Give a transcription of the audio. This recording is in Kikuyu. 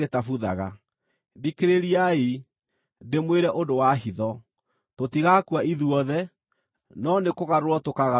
Thikĩrĩriai, ndĩmwĩre ũndũ wa hitho: Tũtigaakua ithuothe, no nĩkũgarũrwo tũkaagarũrwo ithuothe,